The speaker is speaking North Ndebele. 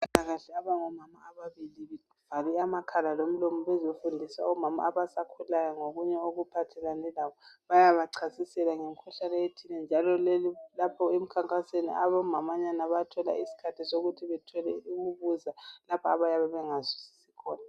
Abezempilakahle abangomama ababili bevale amakhala lomlomo bezofundisa omama obasakhulayo ngokunye okuphathelane labo bayabachasisela ngemikhuhlane ethile njalo leli lapho emkhankasweni omamanyana bayathola isikhathi sokuthi bethole ukubuza lapha abayabe bengazwisisi khona.